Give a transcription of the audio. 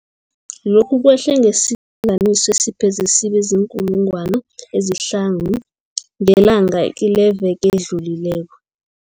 Lokhu kwehle ngesilinganiso esipheze sibe ziinkulungwana ezihlanu ngelanga kileveke edlulileko.